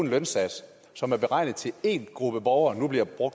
lønsats som er beregnet til en gruppe borgere